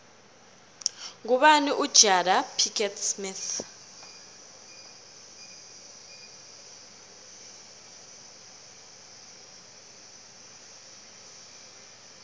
ngubani ujada pickett smith